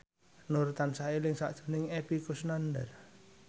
Nur tansah eling sakjroning Epy Kusnandar